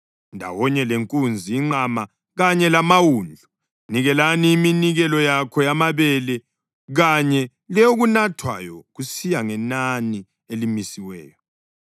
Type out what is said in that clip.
Ndawonye lenkunzi, inqama kanye lamawundlu, linikele iminikelo yakho yamabele kanye leyokunathwayo kusiya ngenani elimisiweyo.